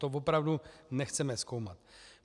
To opravdu nechceme zkoumat.